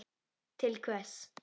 Til hvers?